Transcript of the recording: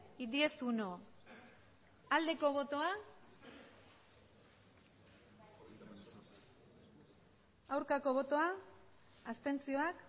y diez punto uno aldeko botoak aurkako botoak abstenzioak